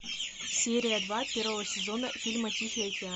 серия два первого сезона фильма тихий океан